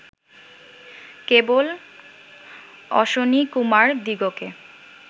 কেবল অশ্বিনীকুমারদিগকে